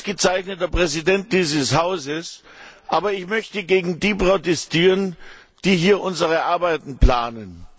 Sie sind ein ausgezeichneter Präsident dieses Hauses, aber ich möchte gegen die protestieren, die hier unsere Arbeiten planen.